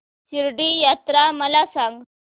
शिर्डी यात्रा मला सांग